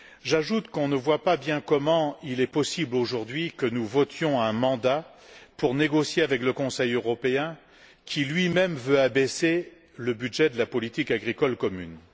J'ajoute qu'on ne voit pas bien comment il est possible aujourd'hui que nous votions un mandat pour négocier avec le Conseil européen, qui lui même veut réduire le budget de la politique agricole commune.